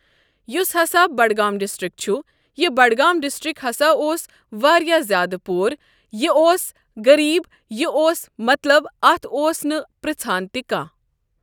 یُس ہسا بڈگام ڈسٹرک چھُ یہِ بڈگام ڈسٹرک ہسا اوس واریاہ زیادٕ پور یہِ اوس غریٖب یہِ اوس مطلب اَتھ اوس نہٕ پرژَھان تہِ کانٛہہ۔